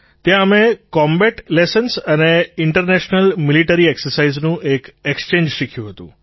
ત્યાં અમે કૉમ્બેટલેસન્સ અને ઇન્ટરનેશનલ મિલિટરી એક્સર્સાઇઝનું એક ઍક્સ્ચેન્જ શીખ્યું હતું